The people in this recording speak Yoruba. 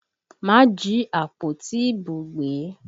Má jí àpótí ìbò gbé!